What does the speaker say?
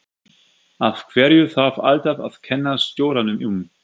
Af hverju þarf alltaf að kenna stjóranum um?